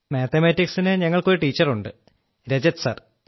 മാത്തമാറ്റിക്സിനു ഞങ്ങൾക്കൊരു ടീച്ചറുണ്ട് രജത് സർ